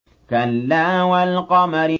كَلَّا وَالْقَمَرِ